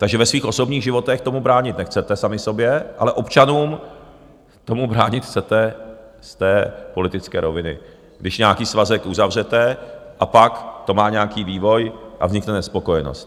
Takže ve svých osobních životech tomu bránit nechcete, sami sobě, ale občanům tomu bránit chcete z té politické roviny, když nějaký svazek uzavřete a pak to má nějaký vývoj a vznikne nespokojenost.